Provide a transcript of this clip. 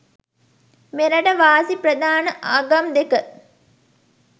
මෙරට වාසි ප්‍රධාන ආගම් දෙක